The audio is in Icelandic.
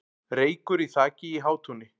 Reykur í þaki í Hátúni